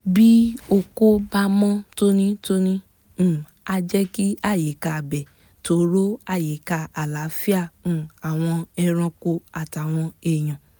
bí oko bá mọ́ tónítóní um á jẹ́ kí àyíká ibẹ̀ toró àyíká àlàáfíà um àwọn ẹranko àtàwọn èèyàn